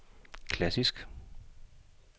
klassisk